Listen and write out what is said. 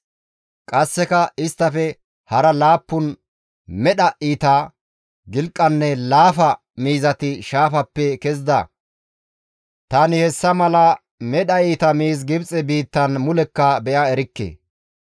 Qasseka isttafe hara laappun medha iita, gilqanne laafa miizati shaafappe kezida; tani hessa mala medha iita miiz Gibxe biittan mulekka be7a erikke.